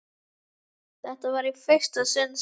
Þetta var í fyrsta sinn sem